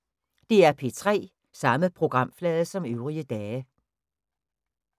DR P3